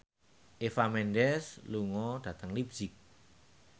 Eva Mendes lunga dhateng leipzig